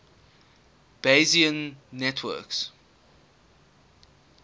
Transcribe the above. bayesian networks